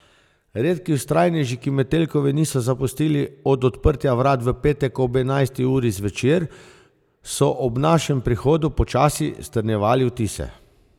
Redki vztrajneži, ki Metelkove niso zapustili od odprtja vrat v petek ob enajsti uri zvečer, so ob našem prihodu počasi strnjevali vtise.